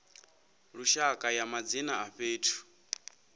lushaka ya madzina a fhethu